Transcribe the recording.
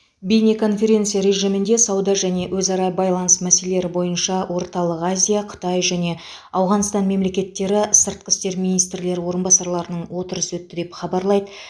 бейнеконференция режимінде сауда және өзара байланыс мәселелері бойынша орталық азия қытай және ауғанстан мемлекеттері сыртқы істер министрлері орынбасарларының отырысы өтті деп хабарлайды